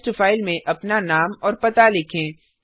test file में अपना नाम और पता लिखें